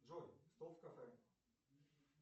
джой стол в кафе